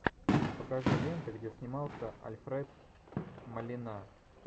покажи ленты где снимался альфред молина